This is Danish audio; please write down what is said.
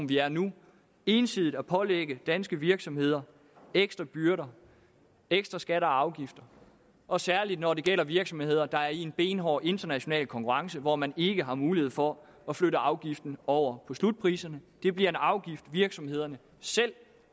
vi er i nu ensidigt at pålægge danske virksomheder ekstra byrder ekstra skatter og afgifter og særlig når det gælder virksomheder der er i en benhård international konkurrence hvor man ikke har mulighed for at flytte afgiften over på slutpriserne det bliver en afgift virksomhederne selv